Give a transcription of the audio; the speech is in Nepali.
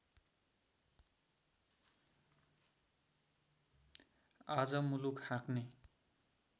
आज मुलुक हाँक्ने